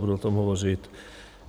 Budu o tom hovořit.